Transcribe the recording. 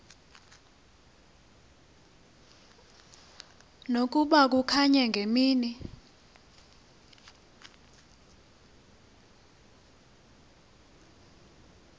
nokuba kukanye ngemini